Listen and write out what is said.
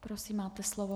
Prosím, máte slovo.